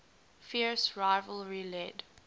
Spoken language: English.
fierce rivalry led